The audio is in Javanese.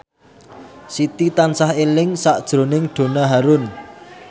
Siti tansah eling sakjroning Donna Harun